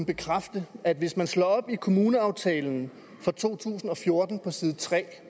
bekræfte at hvis man slår op i kommuneaftalen for to tusind og fjorten på side tre